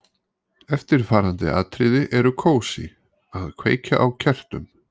Eftirfarandi atriði eru kósí: Að kveikja á kertum.